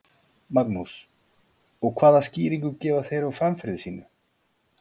Magnús: Og hvaða skýringu gefa þeir á framferði sínu?